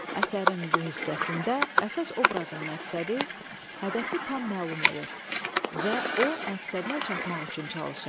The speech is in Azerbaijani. Əsərin bu hissəsində əsas obrazın məqsədi, hədəfi tam məlum olur və o məqsədinə çatmaq üçün çalışır.